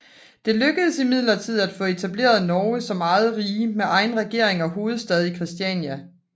Det lykkedes imidlertid at få etableret Norge som eget rige med egen regering og hovedstad i Christiania